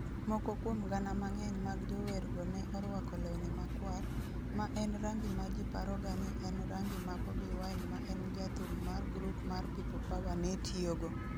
Moko kuom gana mang'eny mag jowergo ne orwako lewni makwar, ma en rangi ma ji paroga ni en rangi ma Bobi Wine ma en jathum mar grup mar People Power ne tiyogo.